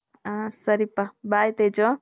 ಹ ಸರಿ ಪ bye ತೇಜು .